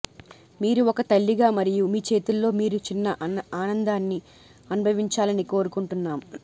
మీరు ఒక తల్లిగా మరియు మీ చేతుల్లో మీ చిన్న ఆనందాన్ని అనుభవించాలని కోరుకుంటున్నాము